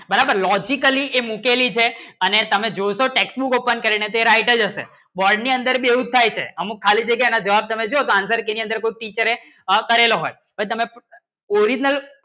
બરાબર logically એ મુકેલી છે અને તમને જે textbook open કરે જે તે right ચ અસે વર્ડ ની અંદર ને જે site હૈ અમુક ખાલી જગ્યા ને જવાબ આપું ના કેરળે હોય હો તમને original